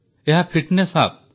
ଏହା fitness app